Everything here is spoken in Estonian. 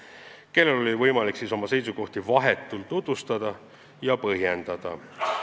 Nii et neil oli võimalik oma seisukohti vahetult tutvustada ja põhjendada.